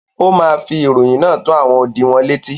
ó ma fi ìròyìn náà tó “ àwọn odi ” wọn létí.